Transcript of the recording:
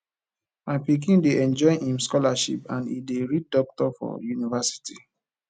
my pikin dey enjoy im scholarship and e dey read doctor for universilty